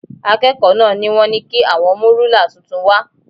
Akẹ́kọ̀ọ́ náà ni wọ́n ní kí àwọn mú rúlà tuntun wá